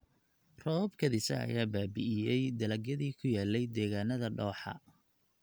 Roobab kedis ah ayaa baabi�iyay dalagyadii ku yaalay deegaannada dooxa.